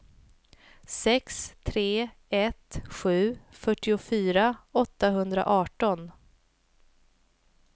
sex tre ett sju fyrtiofyra åttahundraarton